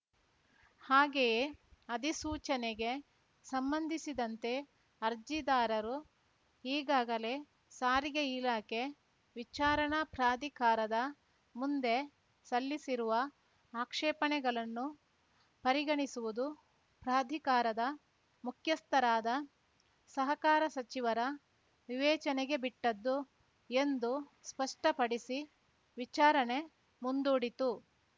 ಹಾಗೆಯೇ ಅಧಿಸೂಚನೆಗೆ ಸಂಬಂಧಿಸಿದಂತೆ ಅರ್ಜಿದಾರರರು ಈಗಾಗಲೇ ಸಾರಿಗೆ ಇಲಾಖೆ ವಿಚಾರಣಾ ಪ್ರಾಧಿಕಾರದ ಮಂದೆ ಸಲ್ಲಿಸಿರುವ ಆಕ್ಷೇಪಣೆಗಳನ್ನು ಪರಿಗಣಿಸುವುದು ಪ್ರಾಧಿಕಾರದ ಮುಖ್ಯಸ್ಥರಾದ ಸಹಕಾರ ಸಚಿವರ ವಿವೇಚನೆಗೆ ಬಿಟ್ಟದ್ದು ಎಂದು ಸ್ಪಷ್ಟಪಡಿಸಿ ವಿಚಾರಣೆ ಮುಂದೂಡಿತು